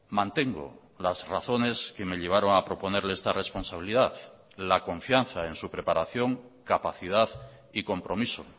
mantengo las razones que me llevaron a proponerle esta responsabilidad la confianza en su preparación capacidad y compromiso